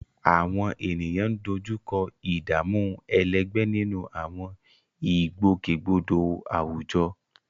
Àwọn ènìyàn ń dojú kọ ìdààmú ẹlẹgbẹ́ nínú àwọn ìgbòkègbodò àwùjọ